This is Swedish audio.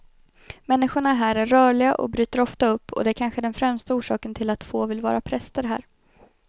Människorna här är rörliga och bryter ofta upp och det är kanske den främsta orsaken till att få vill vara präster här.